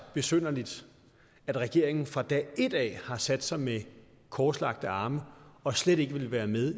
besynderligt at regeringen fra dag et af har sat sig med korslagte arme og slet ikke ville være med